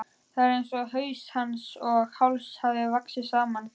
Það er einsog haus hans og háls hafi vaxið saman.